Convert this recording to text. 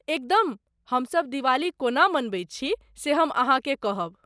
एकदम , हमसभ दिवाली कोना मनबैत छी से हम अहाँकेँ कहब।